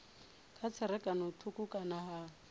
na tserakano thukhu kana ha